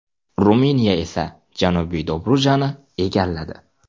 Ruminiya esa Janubiy Dobrujani egalladi.